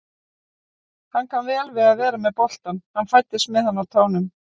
Hann kann vel við að vera með boltann, hann fæddist með hann á tánum.